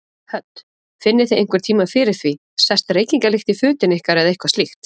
Hödd: Finnið þið einhver tímann fyrir því, sest reykingalykt í fötin ykkar eða eitthvað slíkt?